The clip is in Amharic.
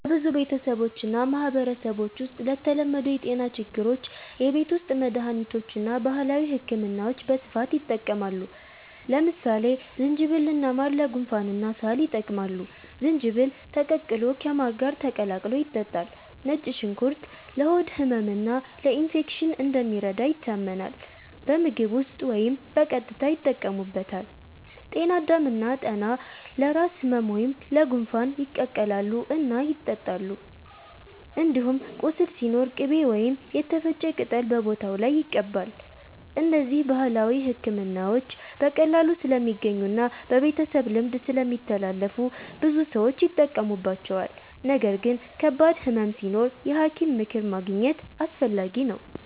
በብዙ ቤተሰቦችና ማህበረሰቦች ውስጥ ለተለመዱ የጤና ችግሮች የቤት ውስጥ መድሃኒቶችና ባህላዊ ሕክምናዎች በስፋት ይጠቀማሉ። ለምሳሌ ዝንጅብልና ማር ለጉንፋንና ሳል ይጠቅማሉ፤ ዝንጅብል ተቀቅሎ ከማር ጋር ተቀላቅሎ ይጠጣል። ነጭ ሽንኩርት ለሆድ ህመምና ለኢንፌክሽን እንደሚረዳ ይታመናል፤ በምግብ ውስጥ ወይም በቀጥታ ይጠቀሙበታል። ጤና አዳም እና ጠና ለራስ ህመም ወይም ለጉንፋን ይቀቀላሉ እና ይጠጣሉ። እንዲሁም ቁስል ሲኖር ቅቤ ወይም የተፈጨ ቅጠል በቦታው ላይ ይቀባል። እነዚህ ባህላዊ ሕክምናዎች በቀላሉ ስለሚገኙና በቤተሰብ ልምድ ስለሚተላለፉ ብዙ ሰዎች ይጠቀሙባቸዋል። ነገር ግን ከባድ ህመም ሲኖር የሐኪም ምክር ማግኘት አስፈላጊ ነው።